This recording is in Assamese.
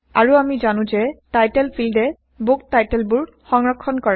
আৰু আমি জানো যে টাইটল ফিল্ডএ বুক টাইটলবোৰ সংৰক্ষণ কৰে